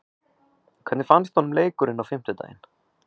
Hvernig fannst honum leikurinn á fimmtudaginn?